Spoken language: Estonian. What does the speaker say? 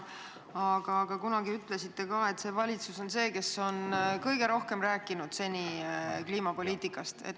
Aga kunagi ütlesite ka, et just see valitsus on seni kõige rohkem rääkinud kliimapoliitikast.